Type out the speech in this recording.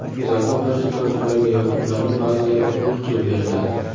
Zakot barcha toifalarga yoki ularning ba’zilariga mulk qilib beriladi.